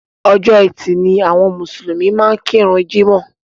Ọjọ́ etì ni àwọn mùsùlùmí máa ń kíru jímọ̀.